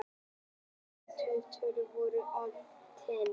Þessi eintöl trúarinnar voru áleitin.